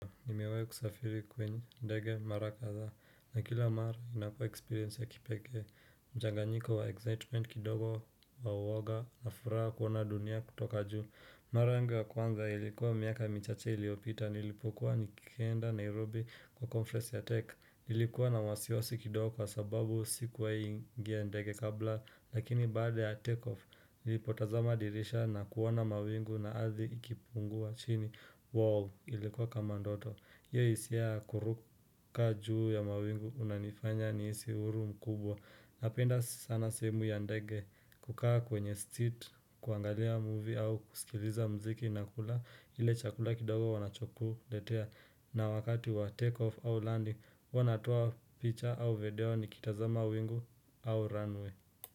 Nimeweza kusafiri kwenye ndege mara kadhaa na kila mara inakuwa eksperience ya kipeke mchanganyiko wa excitement kidogo na uwoga na furaha kuona dunia kutoka juu Mara yangu ya kwanza ilikuwa miaka michache iliyopita nilipokuwa nikienda Nairobi kwa conference ya tech Ilikuwa na wasiwasi kidogo kwa sababu sikuwahi ingia ndege kabla Lakini baada ya takeoff nilipotazama dirisha na kuona mawingu na ardhi ikipungua chini Wow ilikuwa kama ndoto, hiyo isia ya kuruka juu ya mawingu unanifanya nihisi huru mkubwa Napenda sana sehemu ya ndege kukaa kwenye street kuangalia movie au kusikiliza mziki na kula ile chakula kidogo wanachokuletea na wakati wa take off au landing, huwa natoa picture au video nikitazama wingu au runway.